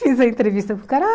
Fiz a entrevista com o cara ah.